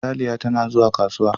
Ralia tana zuwa kasuwa.